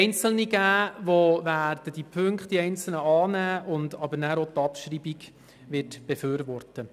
Einzelne Mitglieder werden diese Punkte annehmen, aber auch die Abschreibung befürworten.